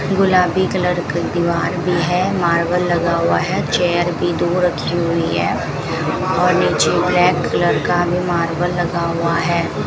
गुलाबी कलर की दीवार भी है मार्बल लगा हुआ है चेयर भी दूर रखी हुई है और नीचे ब्लैक कलर का भी मार्बल लगा हुआ है।